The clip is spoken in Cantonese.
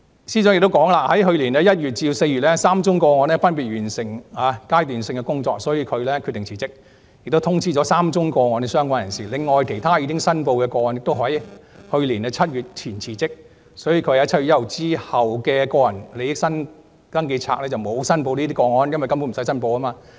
司長又指出，在去年1月至4月 ，3 宗個案分別完成階段性的工作，所以她決定辭職，並已通知3宗個案的相關人士，另外其他已申報的個案均在去年7月1日前辭職，所以她在7月1日之後的個人利益登記冊上沒有申報有關個案，因為根本無須申報。